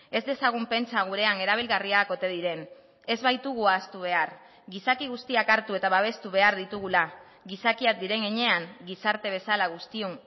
ez dezagun pentsa gurean erabilgarriak ote diren ez baitugu ahaztu behar gizaki guztiak hartu eta babestu behar ditugula gizakiak diren heinean gizarte bezala guztion